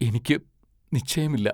എനിക്കു നിശ്ചയമില്ല.